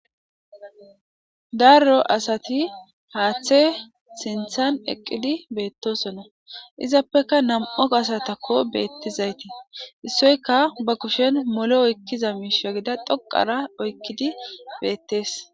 Darro asati haaththe sinthan eqqidi beettosona izappeka nam7o asatakko beettizaytii issoyka ba kushen molo oykkiza miisha gida dhoqara oykkidi beettees.